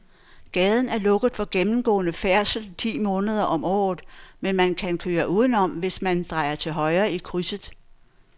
Gaden er lukket for gennemgående færdsel ti måneder om året, men man kan køre udenom, hvis man drejer til højre i krydset.